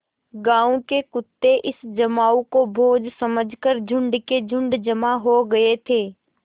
गाँव के कुत्ते इस जमाव को भोज समझ कर झुंड के झुंड जमा हो गये थे